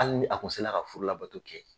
Hali ni a kun se la ka furu labato kɛ.